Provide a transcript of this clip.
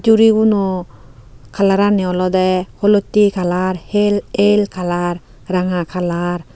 uribuno colorani olode olotte color hel el color ranga color.